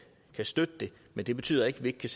støtte det men det betyder ikke at vi ikke kan